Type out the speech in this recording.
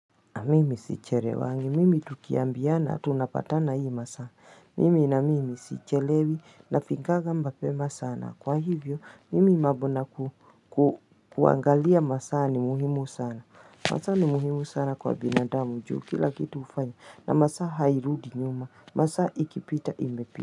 Mimi sichelewangi mimi tukiambiana tunapatana hii masa mimi na mimi sichelewi na fikanga mapema sana kwa hivyo mimi mambo na kuangalia masaa ni muhimu sana masaa ni muhimu sana kwa binadamu juu kila kitu ufanya na masaa hairudi nyuma masaa ikipita imepita.